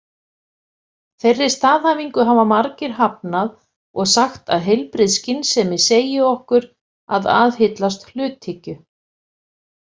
Þeirri staðhæfingu hafa margir hafnað og sagt að heilbrigð skynsemi segi okkur að aðhyllast hluthyggju.